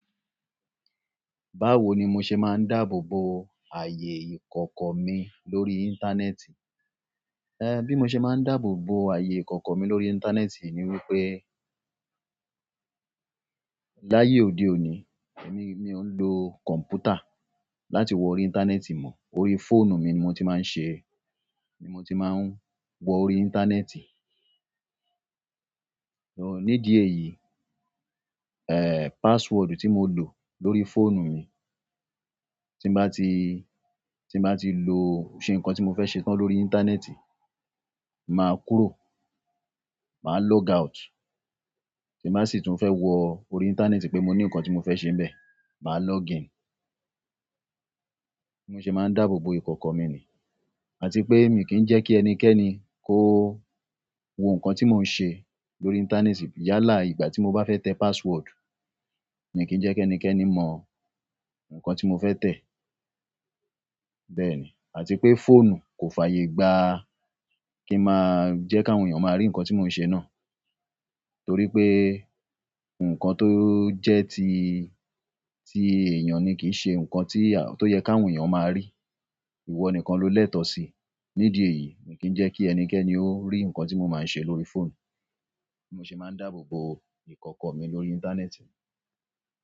Báwo ni mo ṣe máa ń dáàbò bo ààyè ìkọ̀kọ̀ mi lórí íńtánẹ́ẹ̀tì? Eh, bí mo ṣe máa ń dáàbò bo ààyè ìkọ̀kọ̀ mi lórí íńtánẹ́ẹ̀tì ni wípé, láyé òde òní, èmi mi o n lo kọ̀m̀pútà láti wọ orí íńtánẹ́ẹ̀tì mọ́. Orí fóònù mi ni mo ti máa ń ṣe, ni mo ti máa ń wọ orí íńtánẹ́ẹ̀tì. Ní dí eyìí, eh password tí mo lò lórí fóònù mi, tí n bá ti, tí n bá ti lò ṣe nǹkan tí mo fẹ́ ṣe tán lórí íńtánẹ́ẹ̀tì, màá kúrò, màá log out. Tí n bá sì tún fẹ́ wọ orí íńtánẹ́ẹ̀tì pé mo ní nǹkan tí mo fẹ́ ṣe níbẹ̀, màá log in. Bi mo ṣe máa ń dáàbò bo ìkọ̀kọ̀ mi ni. Àti pé mi kì í jẹ́ kí ẹnikẹ́ni kó wo nǹkan tí mo n ṣe lórí íńtánẹ́ẹ̀tì. Yálà ìgbà tí mo bá fẹ́ tẹ password, mi kì í jẹ́ kí ẹnikẹ́ni mọ nǹkan tí mo fẹ́ tẹ. Bẹ́ẹ̀ ni. Àti pé fóònù kò fàyè gba kí màá jẹ́ káwọn èèyàn máa rí nǹkan tí mo n ṣe náà. Torí pé nǹkan tó jẹ́ ti, ti èèyàn ní kìí ṣe nǹkan tí, tó yẹ káwọn èèyàn máa rí. Ìwọ nìkan ló lẹ́tọ̀ọ́ síi. Ní dí ẹ̀yìí, mi kì í jẹ́ kí ẹnikẹ́ni ó rí nǹkan tí mo máa n ṣe lórí fóònù. Mo ṣe máa ń dáàbò bo ìkọ̀kọ̀ mi lórí íńtánẹ́ẹ̀tì.